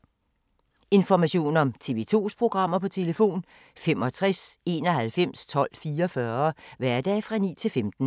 Information om TV 2's programmer: 65 91 12 44, hverdage 9-15.